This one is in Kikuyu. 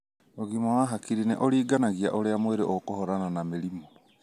ũgima wa hakiri nĩ ũringanagia ũria mwĩri ũkũhũrana na mĩrimũ.